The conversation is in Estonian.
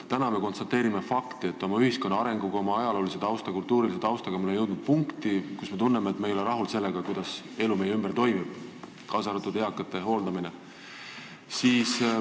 Täna me konstateerime fakti, et oma ühiskonna arengus, oma ajaloolise ja kultuurilise taustaga oleme jõudnud punkti, kus me tunneme, et me ei ole rahul sellega, kuidas toimub elu meie ümber, kaasa arvatud eakate hooldamine.